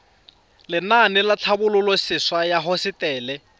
lenaane la tlhabololosewa ya hosetele